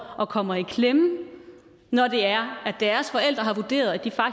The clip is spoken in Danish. og kommer i klemme når det er at deres forældre har vurderet at de